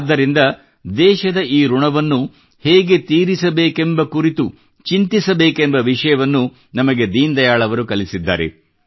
ಆದ್ದರಿಂದ ದೇಶದ ಈ ಋಣವನ್ನು ಹೇಗೆ ತೀರಿಸಬೇಕೆಂಬ ಕುರಿತು ಚಿಂತಿಸಬೇಕೆಂಬ ವಿಷಯವನ್ನು ನಮಗೆ ದೀನ್ ದಯಾಳ್ ಅವರು ಕಲಿಸಿದ್ದಾರೆ